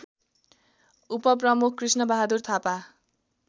उपप्रमुख कृष्णबहादुर थापा